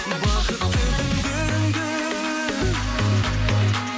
бақытты күндеріңді